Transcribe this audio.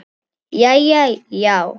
Jæja, já.